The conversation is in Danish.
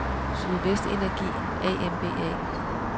Sydvest Energi A M B A